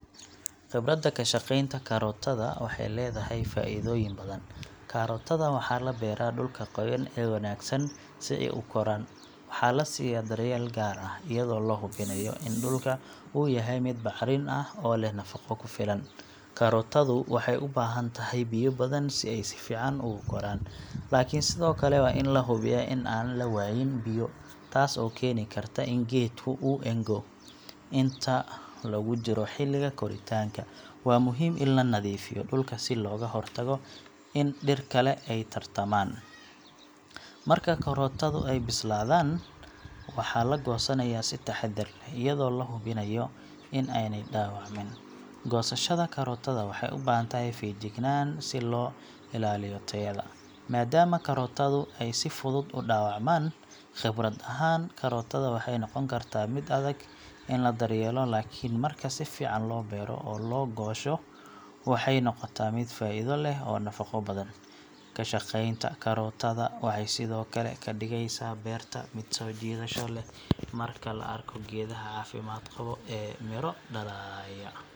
Khibradda ka shaqeynta karootada waxay leedahay faa'iidooyin badan. Karootada waxaa la beeraa dhulka qoyan ee wanaagsan si ay u koraan. Waxa la siiya daryeel gaar ah, iyadoo la hubinayo in dhulka uu yahay mid bacrin ah oo leh nafaqo ku filan. Karootadu waxay u baahan tahay biyo badan si ay si fiican ugu koraan, laakiin sidoo kale waa in la hubiyaa in aan la waayin biyo, taas oo keeni karta in geedka uu engo. Inta lagu jiro xilliga koritaanka, waa muhiim in la nadiifiyo dhulka si looga hortago in dhir kale ay tartamaan. Marka karootadu ay bislaadaan, waxaa la goosanayaa si taxaddar leh, iyadoo la hubinayo in aanay dhaawacmin. Goosashada karootada waxay u baahan tahay feejignaan si loo ilaaliyo tayada, maadaama karootadu ay si fudud u dhaawacmaan. Khibrad ahaan, karootada waxay noqon kartaa mid adag in la daryeelo, laakiin marka si fiican loo beero oo loo goosho, waxay noqotaa mid faa'iido leh oo nafaqo badan. Ka shaqeynta karootada waxay sidoo kale ka dhigeysaa beerta mid soo jiidasho leh marka la arko geedaha caafimaad qaba ee miro dhalaya.